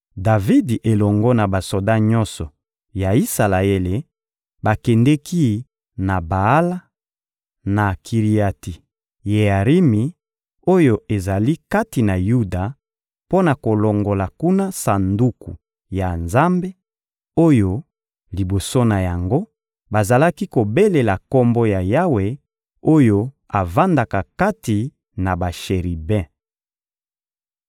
Davidi elongo na basoda nyonso ya Isalaele bakendeki na Baala, na Kiriati-Yearimi oyo ezali kati na Yuda, mpo na kolongola kuna Sanduku ya Nzambe, oyo, liboso na yango, bazalaki kobelela Kombo ya Yawe oyo avandaka kati na basheribe.